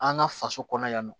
An ka faso kɔnɔ yan nɔ